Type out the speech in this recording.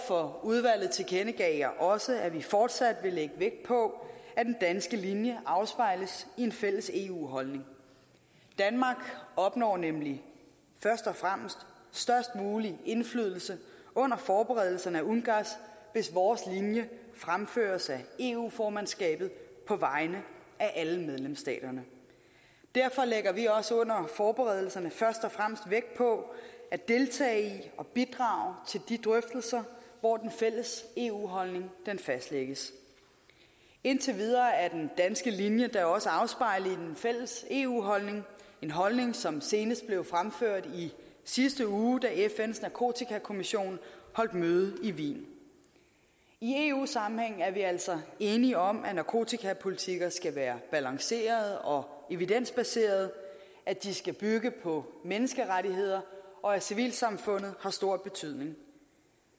for udvalget tilkendegav jeg også at vi fortsat vil lægge vægt på at den danske linje afspejles i en fælles eu holdning danmark opnår nemlig først og fremmest størst mulig indflydelse under forberedelserne af ungass hvis vores linje fremføres af eu formandskabet på vegne af alle medlemsstaterne derfor lægger vi også under forberedelserne først og fremmest vægt på at deltage i og bidrage til de drøftelser hvor den fælles eu holdning fastlægges indtil videre er den danske linje da også afspejlet i den fælles eu holdning en holdning som senest blev fremført i sidste uge da fns narkotikakommission holdt møde i wien i eu sammenhæng er vi altså enige om at nakotikapolitikker skal være balancerede og evidensbaserede at de skal bygge på menneskerettigheder og at civilsamfundet har stor betydning